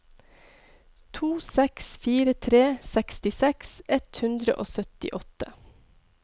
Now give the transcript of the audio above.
to seks fire tre sekstiseks ett hundre og syttiåtte